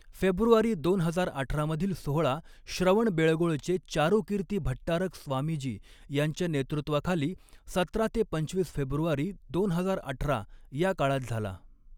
February दोन हजार अठरा मधील सोहळा श्रवणबेळगोळचे चारूकीर्ती भट्टारक स्वामीजी यांच्या नेतृत्वाखाली सतरा ते पंचवीस फेब्रुवारी दोन हजार अठरा या काळात झाला.